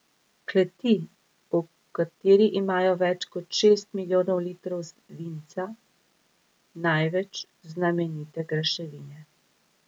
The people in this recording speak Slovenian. Kleti, v kateri imajo več kot šest milijonov litrov vinca, največ znamenite graševine.